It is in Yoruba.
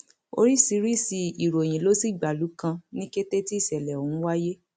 oríṣiríṣi ìròyìn ló sì gbalú kan ní kété tí ìṣẹlẹ ọhún wáyé